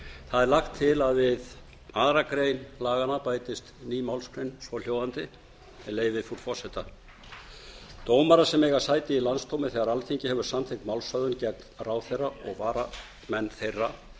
það er lagt til að við aðra grein laganna bætist ný málsgrein svohljóðandi með leyfi frú forseta dómarar sem eiga sæti í landsdómi þegar alþingi hefur samþykkt málshöfðun gegn ráðherra og varamenn þeirra